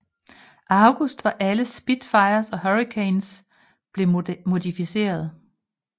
August var alle Spitfires og Hurricanes blevet modificeret